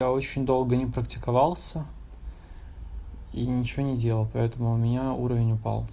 очень долго не практиковался и ничего не делал поэтому у меня уровень упал